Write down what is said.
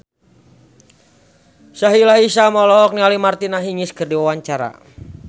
Sahila Hisyam olohok ningali Martina Hingis keur diwawancara